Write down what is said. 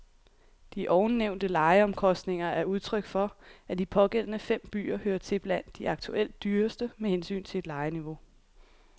De ovennævnte lejeomkostninger er udtryk for, at de pågældende fem byer hører til blandt de aktuelt dyreste med hensyn til lejeniveau.